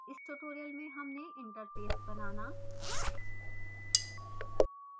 इस tutorial में हमने interface बनाना